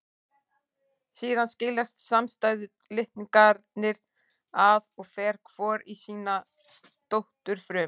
Síðan skiljast samstæðu litningarnir að og fer hvor í sína dótturfrumu.